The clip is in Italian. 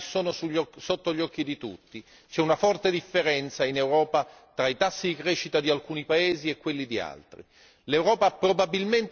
perché i risultati sono sotto gli occhi di tutti, c'è una forte differenza in Europa tra i tassi di crescita di alcuni paesi e quelli di altri.